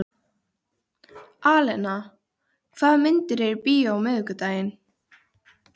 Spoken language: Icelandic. Í fyrstu kannaðist hún ekki við það og varð óróleg.